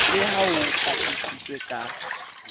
le ha ho qaqisitswe ka